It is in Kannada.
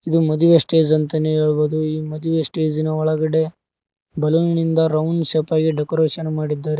ಇದು ಮದುವೆ ಸ್ಟೇಜ್ ಅಂತನೇ ಹೇಳ್ಬೋದು ಈ ಮದುವೆ ಸ್ಟೇಜ್ನ ಒಳಗಡೆ ಬಲೂನೀನಿಂದ ರೌಂಡ್ ಶೇಪಾಗಿ ಡೆಕೋರೇಷನ್ ಮಾಡಿದ್ದಾರೆ.